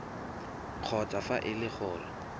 kgotsa fa e le gore